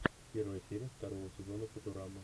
первая серия второго сезона футурамы